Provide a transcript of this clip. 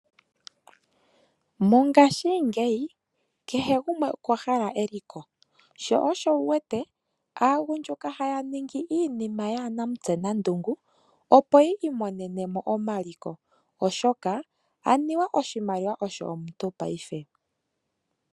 Mongaashingeyi kehe gumwe okwa hala eliko sho osho wu wete aagundjuka haya ningi iinima yaanamutse nandungu opo yi imonene mo omaliko oshoka anuwa oshimaliwa osho omuntu paife.